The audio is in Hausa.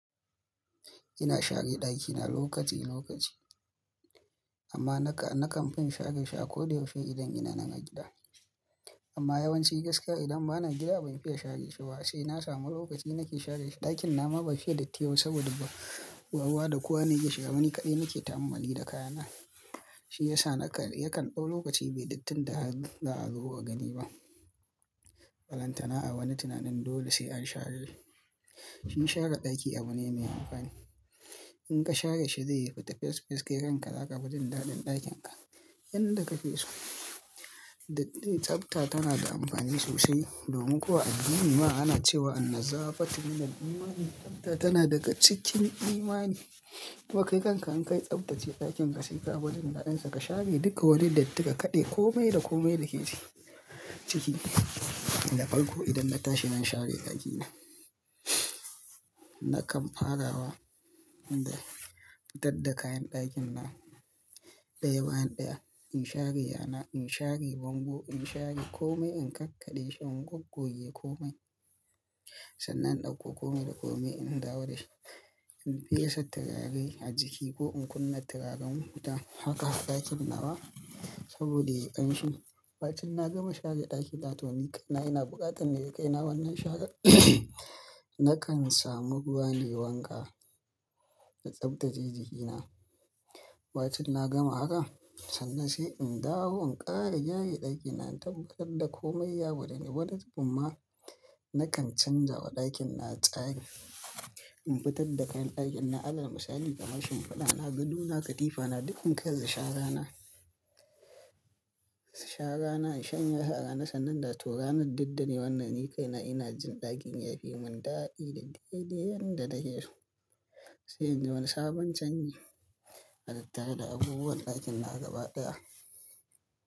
Ina share ɗakina lokaci lokaci amma naka- nakan fin share shi akoda yaushe idan ina nan a gida. Amma yawanci gaskiya idan bana gida ban fiya share shi ba sai na samu lokaci nake share shi. Ɗakin nawama ba fiye dati yaiba saboda ba kowa da kowa ne yake shiga. Ni kaɗai nake ta'ammali da kayana shi yasa naka- yakan ɗau lokaci bai dattin da aka zo gani ba. Balantana a wani tunanin dole sai an share shi. Shi share ɗaki abune mai amfani? In ka share shi zai yi fata fes fes kai kanka zaka fi jin daɗin ɗakin ka yanda kake so. Tsafta tana da amfani sosai domin koh a addinima ana cewa "anna zafati minal iman, tsafta tana daga cikin imani." To kai kanka in ka yi tsaftace ɗakin ka sai ka fijin daɗin sa ka share duka wani datti ka kaɗai komai da komai da ke ciki. Da farko idan na tashi zan share ɗakina. Nakan fara wa da dadda kayan ɗakin na ɗaya bayan ɗaya. In share yana, in share bango, in share komai in kakkaɗe shi, in goggoje komai sannan ɗauko komai da komai in dawo da shi. In fesa turare a jiki ko in kunna turaren wuta haka ɗakin na ba saboda yi ƙanshi. Bacin na gama share ɗakina to ni kaina ina buƙatan me ya kai na wannan share nakan samu ruwa nai wanka na tsaftace jiki na. Bacin na gama haka sannan sai in dawo in ƙara gyara ɗakina in tabbatar da komai ya bude ni. Wadatumma nakan canjawa ɗakin na tsari. In fitar da kayan ɗakin na, alal misali kamashin fada na, gadona, katifa na, dukkan karze shara na. Shara na in shanyesu a rana sannan na tura min daddare wannan ni kaina ina jin ɗakin yafi mun daɗi da dai dai yanda take so. Sai inji wani sabon canji a tattare da abubuwan ɗakin na gaba ɗaya.